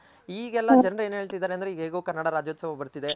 ಈಗೆಲ್ಲ ಜನ್ರ್ ಏನ್ ಹೇಳ್ತಿದಾರೆ ಅಂದ್ರೆ ಹೇಗೋ ಕನ್ನಡ ರಾಜ್ಯೋತ್ಸವ ಬರ್ತಿದೆ